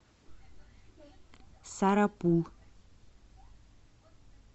сарапул